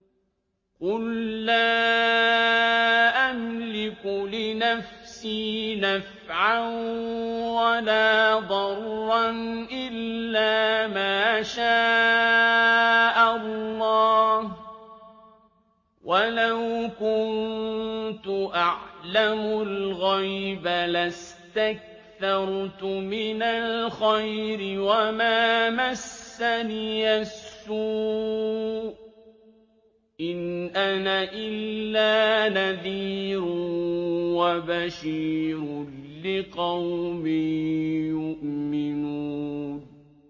قُل لَّا أَمْلِكُ لِنَفْسِي نَفْعًا وَلَا ضَرًّا إِلَّا مَا شَاءَ اللَّهُ ۚ وَلَوْ كُنتُ أَعْلَمُ الْغَيْبَ لَاسْتَكْثَرْتُ مِنَ الْخَيْرِ وَمَا مَسَّنِيَ السُّوءُ ۚ إِنْ أَنَا إِلَّا نَذِيرٌ وَبَشِيرٌ لِّقَوْمٍ يُؤْمِنُونَ